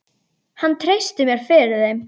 Hann treysti mér fyrir þeim.